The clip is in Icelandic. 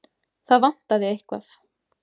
Það vantaði eitthvað.